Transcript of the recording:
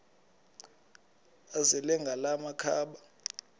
azele ngala makhaba